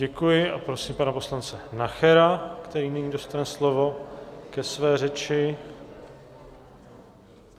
Děkuji a prosím pana poslance Nachera, který nyní dostane slovo ke své řeči.